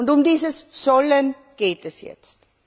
Um dieses sollen geht es jetzt.